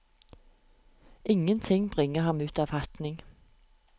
Ingenting bringer ham ut av fatning.